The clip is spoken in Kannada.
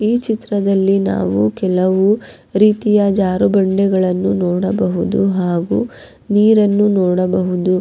ಈ ಚಿತ್ರದಲ್ಲಿ ನಾವು ಕೆಲವು ರೀತಿಯ ಜಾರುಬಂಡಿಗಳನ್ನು ನೋಡಬಹುದು ಹಾಗು ನೀರನ್ನು ನೋಡಬಹುದು.